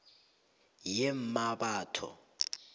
yemmabatho